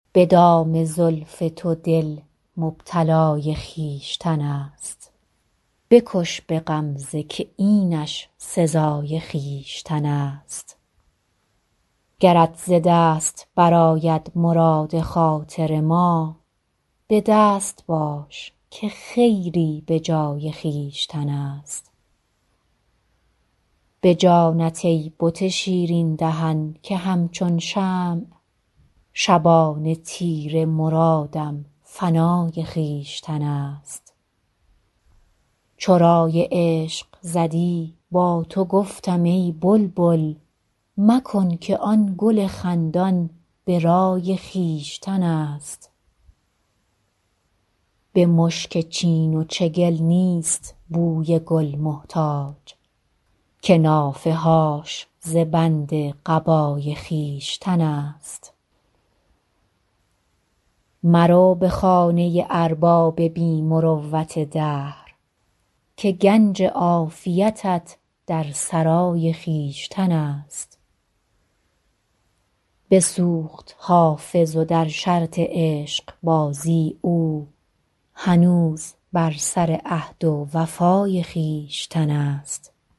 به دام زلف تو دل مبتلای خویشتن است بکش به غمزه که اینش سزای خویشتن است گرت ز دست برآید مراد خاطر ما به دست باش که خیری به جای خویشتن است به جانت ای بت شیرین دهن که همچون شمع شبان تیره مرادم فنای خویشتن است چو رای عشق زدی با تو گفتم ای بلبل مکن که آن گل خندان به رای خویشتن است به مشک چین و چگل نیست بوی گل محتاج که نافه هاش ز بند قبای خویشتن است مرو به خانه ارباب بی مروت دهر که گنج عافیتت در سرای خویشتن است بسوخت حافظ و در شرط عشقبازی او هنوز بر سر عهد و وفای خویشتن است